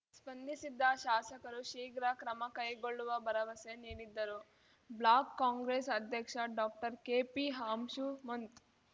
ಸ್ಪಂದಿಸಿದ್ದ ಶಾಸಕರು ಶೀಘ್ರ ಕ್ರಮ ಕೈಗೊಳ್ಳುವ ಭರವಸೆ ನೀಡಿದ್ದರು ಬ್ಲಾಕ್‌ ಕಾಂಗ್ರೆಸ್‌ ಅಧ್ಯಕ್ಷ ಡಾಕ್ಟರ್ ಕೆಪಿ ಅಂಶುಮಂತ್‌